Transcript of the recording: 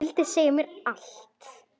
Vildi segja mér allt.